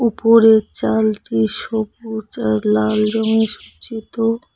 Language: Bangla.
উপরের চালটি সবুজ আর লাল রঙে সজ্জিত।